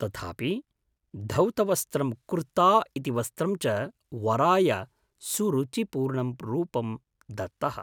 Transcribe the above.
तथापि धौतवस्त्रं कुर्ता इति वस्त्रं च वराय सुरुचिपूर्णं रूपं दत्तः।